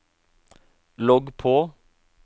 logg på